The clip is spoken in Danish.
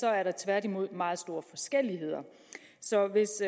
er der tværtimod meget store forskelligheder så hvis